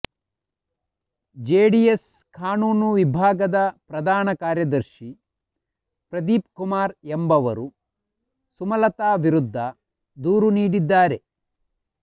JDS ಕಾನೂನು ವಿಭಾಗದ ಪ್ರಧಾನ ಕಾರ್ಯದರ್ಶಿ ಪ್ರದೀಪ್ ಕುಮಾರ್ ಎಂಬವರು ಸುಮಲತಾ ವಿರುದ್ಧ ದೂರು ನೀಡಿದ್ದಾರೆ